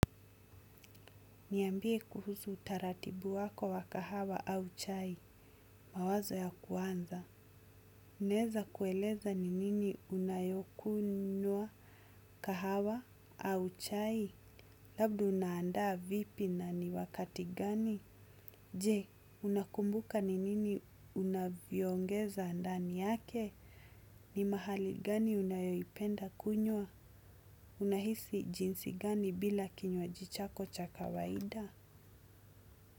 Niambie kuhusu taratibu wako wa kahawa au chai. Mawazo ya kwanza. Naeza kueleza ni nini unayokunywa kahawa au chai. Labda unaandaa vipi na ni wakati gani. Je, unakumbuka ni nini unavyo ongeza ndani yake. Ni mahali gani unayopenda kunywa. Unahisi jinsi gani bila kinywaji chako cha kawaida.